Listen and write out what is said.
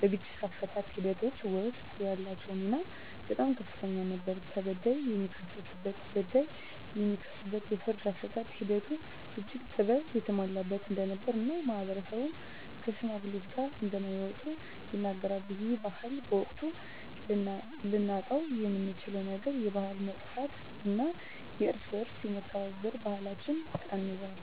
በግጭት አፈታት ሒደቶች ወስጥ ያላቸው ሚና በጣም ከፍተኛ ነበር ተበዳይ የሚካስበት በዳይ የሚክስበት የፍርድ አሰጣጥ ሒደቱም እጅግ ጥበብ የተሞላበት እንደነበር እና ማህበረሰብም ከሽማግሌወች ቃል እንደማይወጡ ይናገራሉ። ይህ ባህል በመቅረቱ ልናጣውየምንችለው ነገር የባህል መጥፍት እና የእርስ በእርስ የመከባበር ባህለች ቀንሶል።